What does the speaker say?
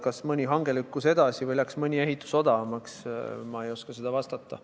Kas mõni hange lükkus edasi või läks mõni ehitus odavamaks, ma ei oska vastata.